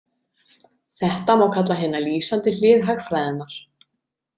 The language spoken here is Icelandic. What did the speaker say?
Þetta má kalla hina lýsandi hlið hagfræðinnar.